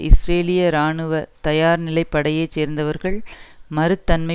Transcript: இஸ்ரேலிய இராணுவ தயார்நிலைப்படையைச் சேர்ந்தவர்கள் மறுத்தமை